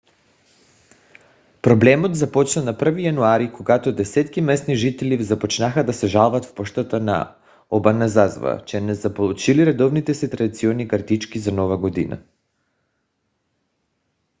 проблемът започна на 1 януари когато десетки местни жители започнаха да се жалват в пощата на обаназава че не са получили редовните си традиционни картички за нова година